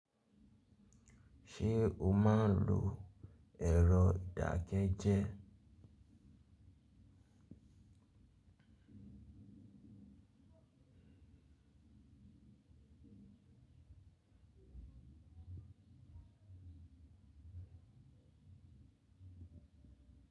Ṣé o máa ń lo ẹ̀rọ ìdákẹ́jẹ́.